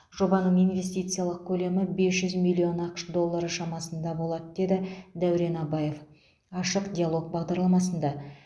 жобаның инвестициялық көлемі бес жүз миллион ақш доллары шамасында болады деді дәурен абаев ашық диалог бағдарламасында